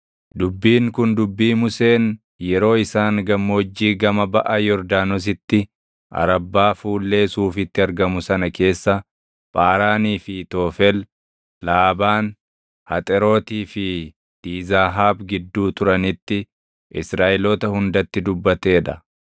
Dubbiin kun dubbii Museen yeroo isaan gammoojjii gama baʼa Yordaanositti, Arabbaa fuullee Suufitti argamu sana keessa, Phaaraanii fi Toofel, Laabaan, Haxerootii fi Diizaahaab gidduu turanitti Israaʼeloota hundatti dubbatee dha.